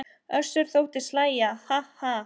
Össur þóttist hlæja:- Ha ha.